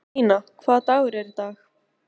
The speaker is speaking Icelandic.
Stína, hvaða dagur er í dag?